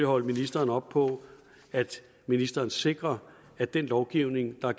holde ministeren op på at ministeren sikrer at den lovgivning der